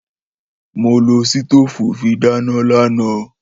Mó lò ṣítòfú fí dàná làná.